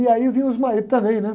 E aí vinham os maridos também, né?